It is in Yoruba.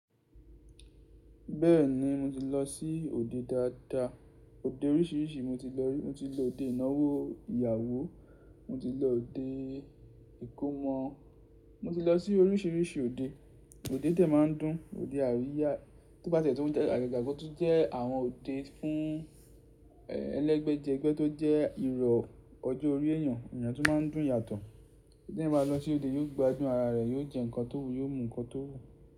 Bẹ́ẹ̀ni mo ti lọ sí òde dáadáa, òde oríṣiríṣi mo ti lọ rí. Mo ti lọ òde ìnáwó ìyàwó, mo ti lọ òde ìkómọ, mo ti lọ sí oríṣiríṣi òde. Òde dẹ̀ má ń dùn, òde àríyá tó bá ti ṣe tún jẹ́-- àgàgà ko tún jẹ́ àwọn òde fún ẹlẹ́gbẹ̀jẹgbẹ́ tó jẹ́ ìrọ̀ ọjọ́ orí èyàn, iyen tún má ń dùn yàtọ̀. Tí ẹni bá lọ sí òde yóò gbádùn ara rẹ̀, yóò jẹ́ ǹkan tó wù, yóò mu ǹkan tó wù.